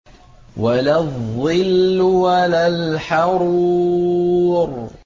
وَلَا الظِّلُّ وَلَا الْحَرُورُ